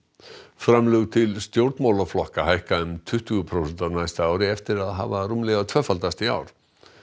framlög til stjórnmálaflokka hækka um tuttugu prósent á næsta ári eftir að hafa rúmlega tvöfaldast í ár